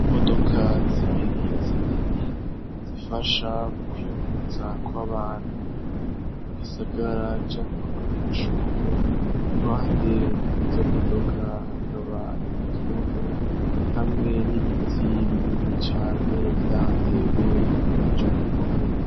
i modoka zibiri zinini zifasha mu kwingurutsa kw'abantu mu gisagara canke k' abanyeshure y'iruhande y'izo modoka hakaba ari igihome hamwe n'ibiti binini cane vyatewe inyuma y'ico gihome